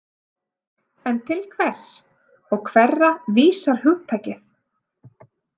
En til hvers og hverra vísar hugtakið?